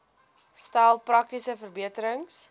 stel praktiese verbeterings